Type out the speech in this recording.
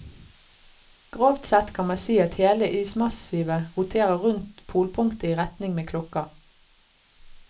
Grovt sett kan man si at hele ismassivet roterer rundt polpunktet i retning med klokka.